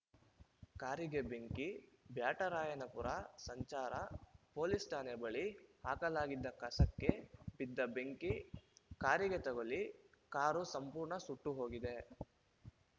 ಕಾರಿಗೆ ಬೆಂಕಿ ಬ್ಯಾಟರಾಯನಪುರ ಸಂಚಾರ ಪೊಲೀಸ್ ಠಾಣೆ ಬಳಿ ಹಾಕಲಾಗಿದ್ದ ಕಸಕ್ಕೆ ಬಿದ್ದ ಬೆಂಕಿ ಕಾರಿಗೆ ತಗುಲಿ ಕಾರು ಸಂಪೂರ್ಣ ಸುಟ್ಟುಹೋಗಿದೆ